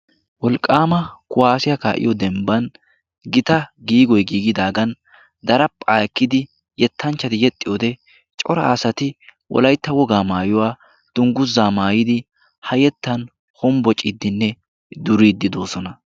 Wolqqaama kuwaasiyaa kaa'iyo dembban gita giigoy giigidaagan darapa ekkidi yettanchchadi yexxi wode cora asati wolaytta wogaa maayuwaa tungguzzaa maayidi ha yettan hombbo ciddinne duriiddi doosona.